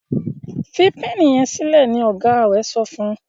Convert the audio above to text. fí Pẹ́ẹ̀nì yen kalẹ! ní ọgá rẹ sọfún.